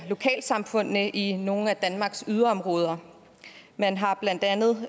lokalsamfundene i nogle af danmarks yderområder man har blandt andet